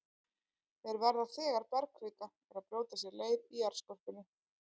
Þeir verða þegar bergkvika er að brjóta sér leið í jarðskorpunni.